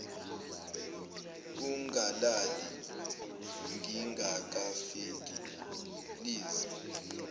ungalali ngingakafiki please